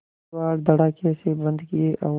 किवाड़ धड़ाकेसे बंद किये और